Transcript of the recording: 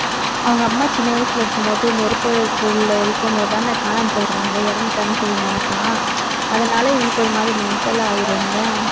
அவங்க அம்மா சின்ன வயசுல இருக்கும்போது, நெருப்பு உள்ளே இருக்கும் போதுதானே காணாமல் போயிடுவாங்க. இறந்துட்டாங்கன்னு சொல்லி நினைப்பான். அதனால, இவனுக்கு ஒரு மாதிரி mental ஆயிரும் இல்லை?